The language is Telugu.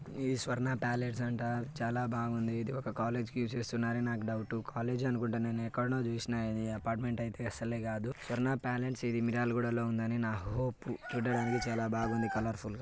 ఇది స్వర్ణ పలేత్స్ అంటారు చాలా బాగుంది ఒక కాలేజీ కి చేస్తున్నారు అని డౌట్ కాలేజీ అనుకుంట నేను ఎక్కడనో చుసిన అపార్ట్ మెంట్ అయితే అసల కాదు స్వర్ణ పలేత్స్ మిర్యాలగూడ లో ఉందని నా హోప్ చూడడానికి బాగుంది కలోర్ఫుల్ గా